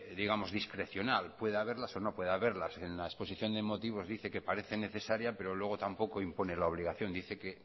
discrecional puede haberlas o no puede haberlas en la exposición de motivos dice que parece necesaria pero luego tampoco impone la obligación dice que